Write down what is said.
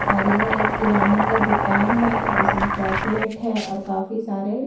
और यह एक किराने का दुकान है जिसमें चॉकलेट है और काफी सारे--